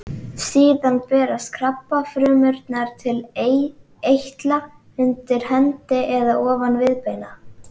Síðan berast krabbafrumurnar til eitla undir hendi eða ofan viðbeina.